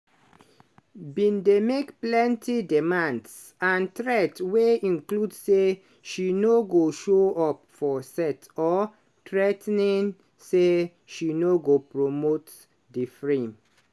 bin dey make plenti demands and threat wey include say she "no go show up for set or threa ten ing say she no go promote di freem"